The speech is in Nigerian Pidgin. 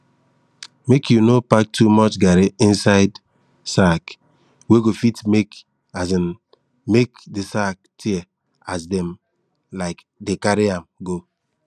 make you no pack too much garri inside sack wey go fit um make de sack tear as dem um dey carry am go